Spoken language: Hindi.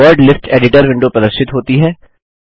वर्ड लिस्ट एडिटर विंडो प्रदर्शित होती है